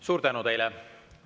Suur tänu teile!